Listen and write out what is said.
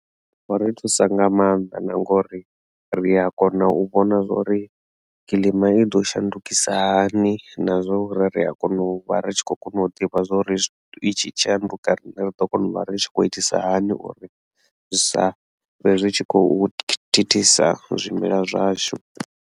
Vha ri thusa nga maanḓa na ngori ri a kona u vhona zwori kilima i ḓo shandukisa hani na zwo uri ri a kona u vha ri tshi khou kona u ḓivha zwori itshi shanduka rine ri ḓo kona u vha ri tshi khou itisa hani uri zwi sa vhe zwi tshi khou thithisa zwimela zwashu.